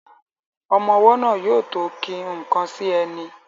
Ọmọ ọwọ́ náà yóò tó ki nnkan sí ẹni